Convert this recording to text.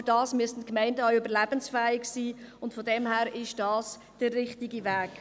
Dafür muss eine Gemeinde aber auch überlebensfähig sein, und daher ist dies der richtige Weg.